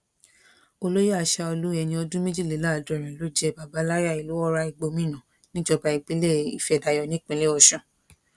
olóyè aṣáọlù ẹni ọdún méjìléláàádọrin ló jẹ bàbàláyà ìlú ọrá ìgbómìnà níjọba ìbílẹ ìfẹ́dayọ̀ nípínlẹ ọ̀sun